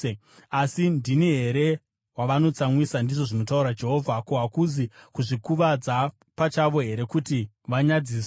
Asi ndini here wavanotsamwisa? ndizvo zvinotaura Jehovha. Ko, hakuzi kuzvikuvadza pachavo here kuti vanyadziswe?